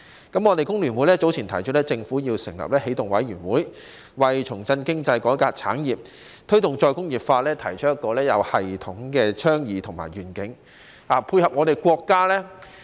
工聯會早前提出，政府要成立起動委員會，為重振經濟、改革產業和推動再工業化提出一個有系統的倡議和願景，以配合國家。